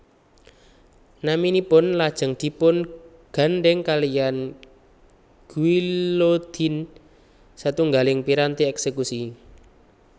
Naminipun lajeng dipun gandhèng kaliyan guillotine satunggiling piranti èksékusi